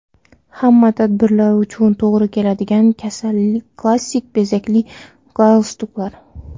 Hamma tadbirlar uchun to‘g‘ri keladigan klassik bezakli galstuklar.